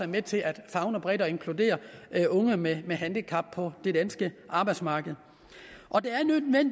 med til at favne bredt og inkludere unge med handicap på det danske arbejdsmarked